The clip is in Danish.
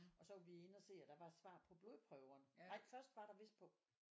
Og så var vi inde og se at der var svar på blodprøver. Ej først var der vist på